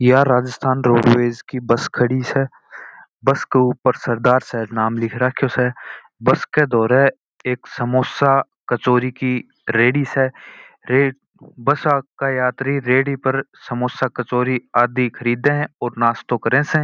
यह राजस्थान रोडवेज की बस खड़ी स बस के ऊपर सरदार शहर नाम लिखा स बस के पास एक समोसा कचौड़ी की रेड्डी है बस के यात्री रेड्डी से समोसा कचौड़ी आदि खरीद रहे स और नाश्तों करे स।